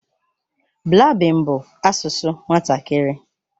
Blaabin bụ asụsụ nwatakịrị.